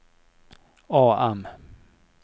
AM